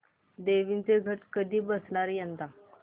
देवींचे घट कधी बसणार यंदा